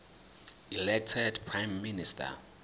elected prime minister